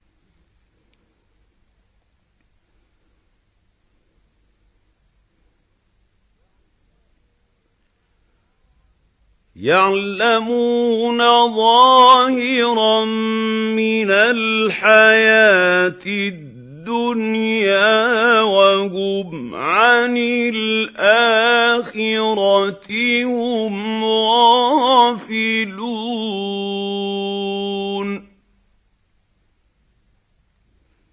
يَعْلَمُونَ ظَاهِرًا مِّنَ الْحَيَاةِ الدُّنْيَا وَهُمْ عَنِ الْآخِرَةِ هُمْ غَافِلُونَ